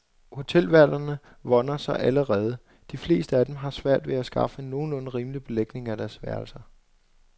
Hotelværterne vånder sig allerede, de fleste af dem har svært ved at skaffe en nogenlunde rimelig belægning af deres værelser.